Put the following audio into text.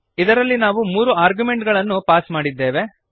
ಇದರಲ್ಲಿ ನಾವು ಮೂರು ಆರ್ಗ್ಯುಮೆಂಟುಗಳನ್ನು ಪಾಸ್ ಮಾಡಿದ್ದೇವೆ